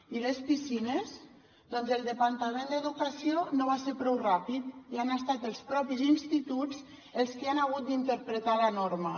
i les piscines doncs el departament d’educació no va ser prou ràpid i han estat els propis instituts els qui han hagut d’interpretar la norma